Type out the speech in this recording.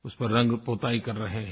उसमें रंग पुताई कर रहे हैं